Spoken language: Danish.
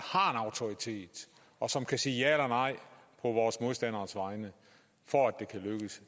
autoritet og som kan sige ja eller nej på vores modstanderes vegne for at